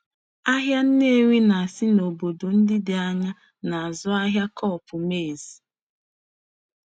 Ahịa Nnewi na-esi n'obodo ndị dị anya na-azụ ahịa cob maize.